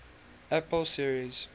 apple series